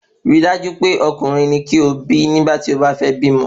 Rí dájú wípé Ọmọkùnrin ni kí o bí nígbà tí o ba fẹ́ bímọ